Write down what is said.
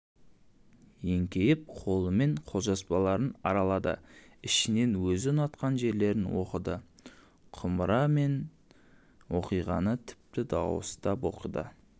еңкейіп қолымен қолжазбаларын аралады ішінен өзі ұнатқан жерлерін оқыды құмыра мен оқиғаны тіпті дауыстап оқыды